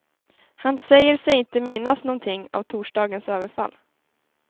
Han säger sig inte minnas någonting av torsdagens överfall.